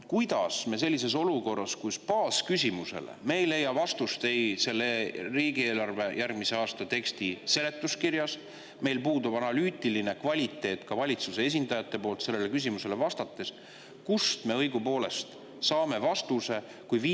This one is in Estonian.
Kuidas me sellises olukorras, kus me baasküsimusele ei leia vastust ei järgmise aasta riigieelarve tekstis ega seletuskirjas, kus meil puudub analüütiline kvaliteet ka valitsuse esindajate poolt sellele küsimusele vastates, kuidas ja kust me õigupoolest saame vastuse?